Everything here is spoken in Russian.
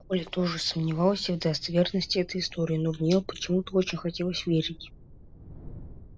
оля тоже сомневался в достоверности этой истории но в нее почему то очень хотелось верить